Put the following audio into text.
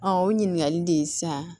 o ɲininkali de san